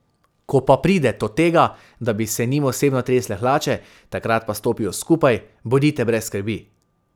Ko pa pride to tega, da bi se njim osebno tresle hlače, takrat pa stopijo skupaj, bodite brez skrbi.